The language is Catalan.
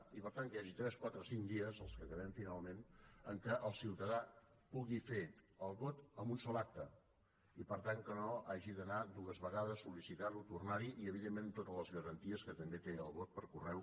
i per tant que hi hagi tres quatre cinc dies els que quedem finalment en què el ciutadà pugui fer el vot en un sol acte i per tant que no hi hagi d’anar dues vegades sol·nar hi i evidentment amb totes les garanties que també té el vot per correu